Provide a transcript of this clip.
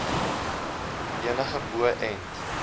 enig bo ent